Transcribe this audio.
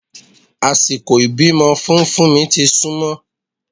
Àsìkò ìbímọ fún fúnmi ti súnmọ́